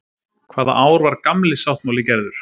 Hvaða ár var Gamli sáttmáli gerður?